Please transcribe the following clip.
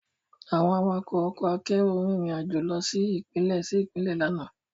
Àwọn awakọ̀ ọkọ akérò rìn rìn àjò lọ sí Ìpínlẹ̀ sí Ìpínlẹ̀ lánàá